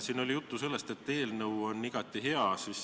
Siin oli juttu sellest, et eelnõu on igati hea.